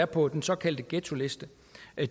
på den såkaldte ghettoliste